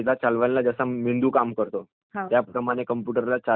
त्याप्रमाणे कम्प्युटरला चालवण्याचे काम जे आहे ते सीपीयू कडे असते..